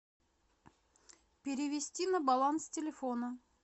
перевести на баланс телефона